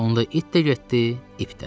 Onda it də getdi, ip də.